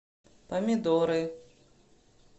помидоры